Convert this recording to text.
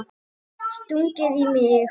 Stungið í mig?